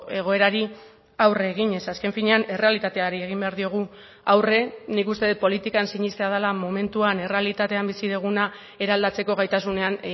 egoerari aurre eginez azken finean errealitateari egin behar diogu aurre nik uste dut politikan sinestea dela momentuan errealitatean bizi duguna eraldatzeko gaitasunean